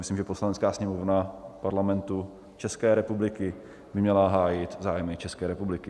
Myslím, že Poslanecká sněmovna Parlamentu České republiky by měla hájit zájmy České republiky.